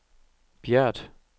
Bjert